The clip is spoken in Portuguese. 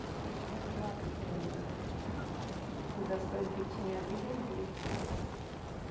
Tinha uma mandioca, tinha uma... Todas as coisas que tinha ali, vendia.